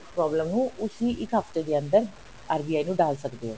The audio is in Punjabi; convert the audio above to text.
problem ਨੂੰ ਉਸੀ ਇੱਕ ਹਫਤੇ ਦੇ ਅੰਦਰ RBI ਨੂੰ ਡਾਲ ਸਕਦੇ ਹੋ